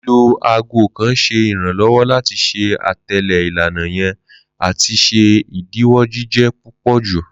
Lilo aago kan ṣe iranlọwọ lati ṣe atẹle ilana yan ati ṣe idiwọ jijẹ pupọju.